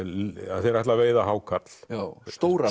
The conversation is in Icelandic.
að þeir ætla að veiða hákarl stóran